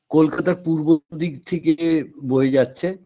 কলকাতার পূর্ব দিক থেকে বয়ে যাচ্ছে